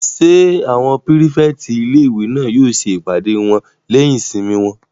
Ṣé àwọn pírífẹ̀tì ilé-ìwé náà yóò ṣe ìpàdé wọn lẹ́yìn ìsinmi wọn?